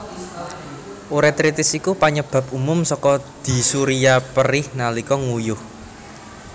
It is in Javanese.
Urétritis iku panyebab umum saka dysuria perih nalika nguyuh